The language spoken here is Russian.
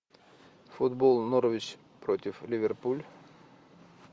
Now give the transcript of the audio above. футбол норвич против ливерпуль